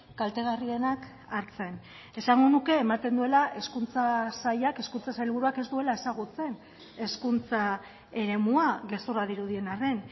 kaltegarrienak hartzen esango nuke ematen duela hezkuntza sailak hezkuntza sailburuak ez duela ezagutzen hezkuntza eremua gezurra dirudien arren